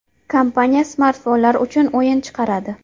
Kompaniya smartfonlar uchun o‘yin chiqaradi.